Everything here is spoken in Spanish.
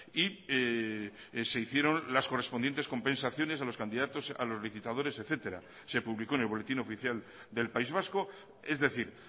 y se hicieron las correspondientes compensaciones a los candidatos a los licitadores etcétera se publicó en el boletín oficial del país vasco es decir